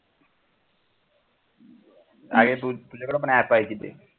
आहे तुझ्याकडे पण app आहे की ते